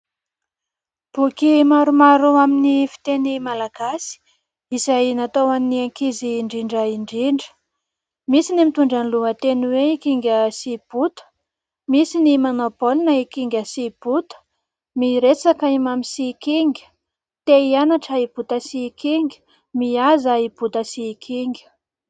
Boky maromaro amin'ny fiteny malagasy izay natao an'ny ankizy indrindra indrindra. Misy ny mitondra ny lohateny hoe : "i kinga sy bota",misy "ny manao baolina i kinga sy i bota", "miresaka i mamy sy i kinga", te hianatra i bota sy i kinga", "mihaza i bota sy i kinga".